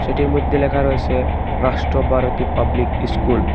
এটির মইদ্যে লেখা রয়েসে রাষ্ট্র ভারতী পাবলিক ইস্কুল ।